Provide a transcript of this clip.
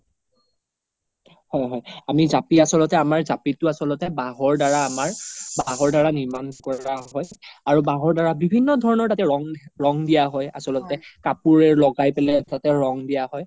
হয় হয় আমি জাপি আচ্ল্তে আমাৰ জাপিতো আচ্ল্তে বাহৰ দাৰা আমাৰ বাহৰ দাৰা নিৰ্মান কোৰা হয় আৰু বাহৰ দাৰা বিভিন্ন ধৰণৰ তাতে ৰং, ৰং দিয়া হয় আচ্ল্তে কাপোৰে লগাই পেলে তাতে ৰং দিয়া হয়